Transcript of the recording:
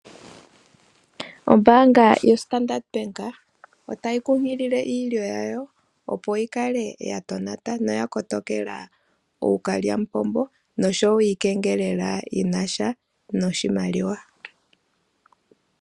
Ombaanga yo Standard Bank otayi kunkilile iilyo yayo opo yi kale ya tonata, noya kotokela ookalyamupombo noshowo iikengelela yinasha noshimaliwa.